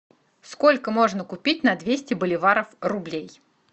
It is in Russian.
сколько можно купить на двести боливаров рублей